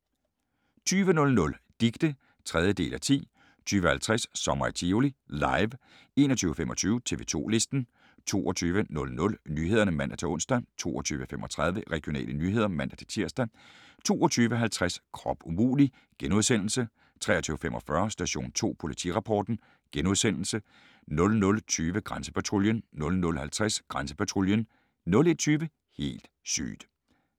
20:00: Dicte (3:10) 20:50: Sommer i Tivoli – LIVE 21:25: TV 2 Listen 22:00: Nyhederne (man-ons) 22:35: Regionale nyheder (man-tir) 22:50: Krop umulig! * 23:45: Station 2 Politirapporten * 00:20: Grænsepatruljen 00:50: Grænsepatruljen 01:20: Helt sygt!